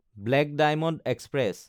black diamond express